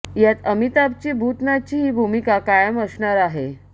यात अमिताभची भूतनाथची ही भूमिका कायम असणार आहे